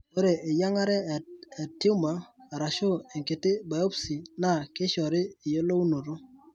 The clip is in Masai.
Ore eyiang'are e tumor arashuu enkiti biopsy naa keishoru eyiolounoto.